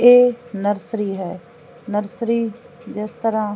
ਇਹ ਨਰਸਰੀ ਹੈ ਨਰਸਰੀ ਜਿਸ ਤਰਾਂ